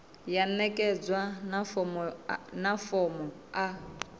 ya ṋekedzwa na fomo a